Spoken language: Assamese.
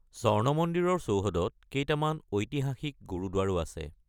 স্বৰ্ণ মন্দিৰৰ চৌহদত কেইটামান ঐতিহাসিক গুৰুদ্বাৰো আছে।